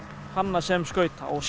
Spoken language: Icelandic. hanna sem skauta og